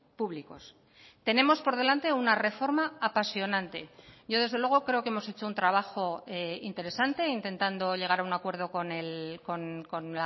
públicos tenemos por delante una reforma apasionante yo desde luego creo que hemos hecho un trabajo interesante intentando llegar a un acuerdo con